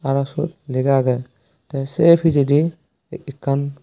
arow swot lagaagay tay say pijadi ekan.